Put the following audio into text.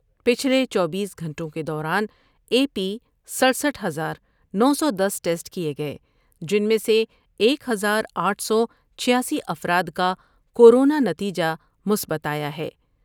پچھلے چوبیس گھنٹوں کے دوران اے پی سڈ سٹھ ہزار نو سو دس ٹسٹ کئے گئے جن میں سے ایک ہزار آٹھ سو چھیاسی افراد کا کورونا نتیجہ مثبت آیا ہے ۔